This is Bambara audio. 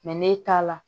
n'e t'a la